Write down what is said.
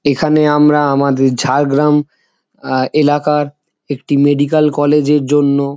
এখানে আমরা আমাদের ঝাড়গ্রাম এ এলাকার একটি মেডিকেল কলেজ এর জন্য--